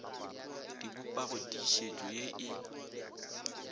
di bopago tiišetšo ye e